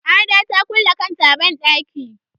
Ada ta kulle kanta a banɗaki.